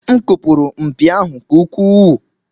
M kụpụrụ mpi ahụ nke ukwuu.